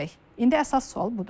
İndi əsas sual budur.